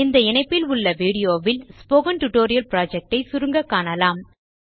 இந்த இணைப்பில் உள்ள வீடியோவில் ஸ்போக்கன் டியூட்டோரியல் புரொஜெக்ட் ஐ சுருங்க காணலாம்